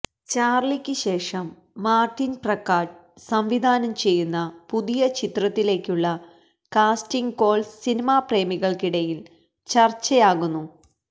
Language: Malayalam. ചാര്ലിക്ക് ശേഷം മാര്ട്ടിന് പ്രക്കാട്ട് സംവിധാനം ചെയ്യുന്ന പുതിയ ചിത്രത്തിലേക്കുള്ള കാസ്റ്റിങ് കോള് സിനിമാപ്രേമികൾക്കിടയിൽ ചർച്ചയാകുന്നു